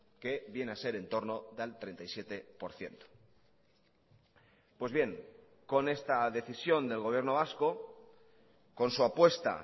que viene a ser entorno del treinta y siete por ciento pues bien con esta decisión del gobierno vasco con su apuesta